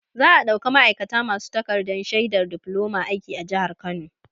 Za'a ɗauka ma'aikata masu takarɗar shaidar difloma aiki a jihar Kano.